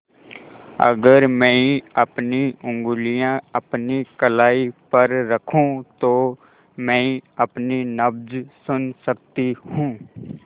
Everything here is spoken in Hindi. अगर मैं अपनी उंगलियाँ अपनी कलाई पर रखूँ तो मैं अपनी नब्ज़ सुन सकती हूँ